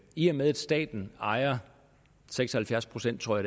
i og med at staten ejer seks og halvfjerds pct tror